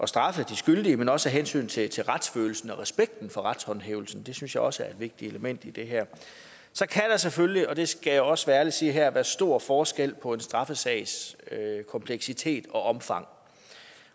straffet de skyldige men også af hensyn til til retsfølelsen og respekten for retshåndhævelsen det synes jeg også er et vigtigt element i det her så kan der selvfølgelig og det skal jeg også være ærlig og sige her være stor forskel på en straffesags kompleksitet og omfang